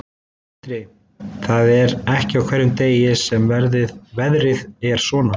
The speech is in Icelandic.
Sindri: Það er ekki á hverjum degi sem veðrið er svona?